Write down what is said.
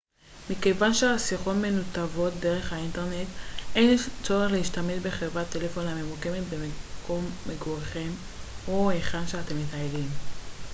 מכיוון שהשיחות מנותבות דרך האינטרנט אין צורך להשתמש בחברת טלפון הממוקמת במקום מגוריכם או היכן שאתם מטיילים